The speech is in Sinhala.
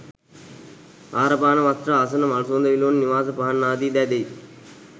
ආහාර පාන වස්ත්‍ර ආසන මල් සුවඳ විලවුන් නිවාස පහන් ආදී දෑ දෙයි.